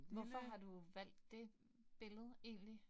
Hvorfor har du valgt det billede egentlig?